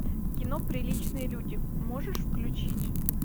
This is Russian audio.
кино приличные люди можешь включить